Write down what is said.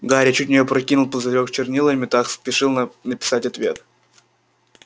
гарри чуть не опрокинул пузырёк с чернилами так спешил написать ответ